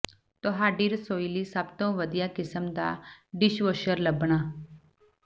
ਤੁਹਾਡੀ ਰਸੋਈ ਲਈ ਸਭ ਤੋਂ ਵਧੀਆ ਕਿਸਮ ਦਾ ਡਿਸ਼ਵਾਸ਼ਰ ਲੱਭਣਾ